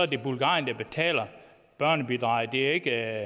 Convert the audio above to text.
det bulgarien der betaler børnebidraget det er ikke